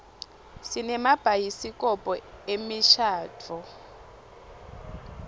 sinemabhayisikobho emishadvo